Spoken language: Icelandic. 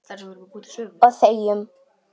Og þegjum.